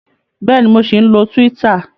Bẹ́ẹ̀ni, mo ṣì ń lọ Twitter